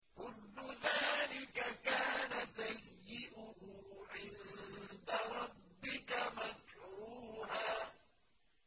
كُلُّ ذَٰلِكَ كَانَ سَيِّئُهُ عِندَ رَبِّكَ مَكْرُوهًا